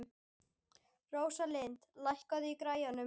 Rósalind, lækkaðu í græjunum.